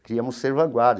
queríamos ser vanguarda.